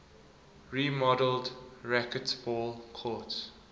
remodeled racquetball courts